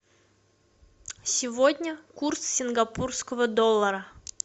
сегодня курс сингапурского доллара